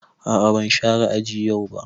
A'a ban share aji yau ba.